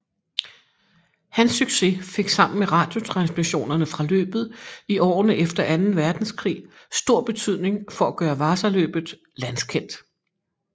Hans succes fik sammen med radiotransmissionerne fra løbet i årene efter anden verdenskrig stor betydning for at gøre Vasaløbet landskendt